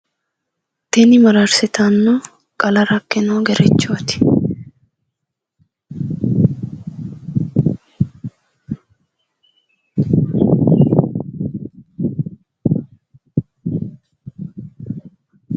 Tini mararsitanno qala rakkino gerechooti